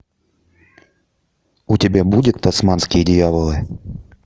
у тебя будет тасманские дьяволы